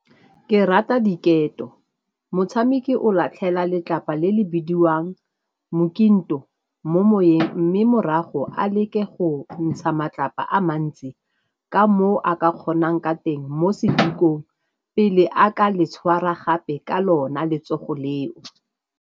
Ke rata diketo, motshameki o latlhela letlapa le le bidiwang mokinto mo moweng mme morago a leke go ntsha matlapa a mantsi ka moo a ka kgonang ka teng mo sedikong pele a ka le tshwara gape ka lona letsogo leo.